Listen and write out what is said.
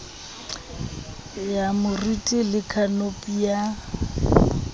ya moriti le khanopi ya